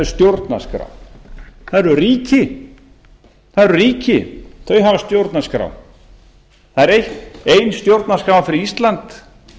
stjórnarskrá það eru ríki þau hafa stjórnarskrá það er ein stjórnarskrá fyrir ísland